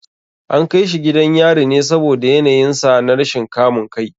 An kai shi gidan yari ne saboda yanayinsa na rashin kamun kai.